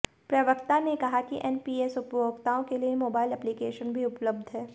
प्रवक्ता ने कहा कि एनपीएस उपभोक्ताओं के लिए मोबाईल एप्लीकेशन भी उपलब्ध है